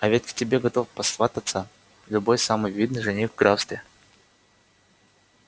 а ведь к тебе готов посвататься любой самый видный жених в графстве